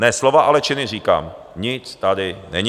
Ne slova, ale činy, říkám, nic tady není.